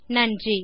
நன்றி